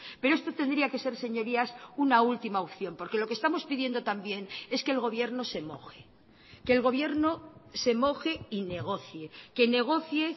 pero esto tendría que ser señorías una última opción porque lo que estamos pidiendo también es que el gobierno se moje que el gobierno se moje y negocie que negocie